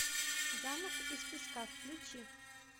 замок из песка включи